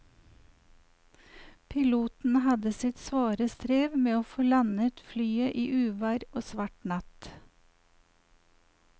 Piloten hadde sitt svare strev med å få landet flyet i uvær og svart natt.